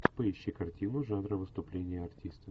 поищи картину жанра выступление артиста